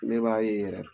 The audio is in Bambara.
Ne b'a ye yɛrɛ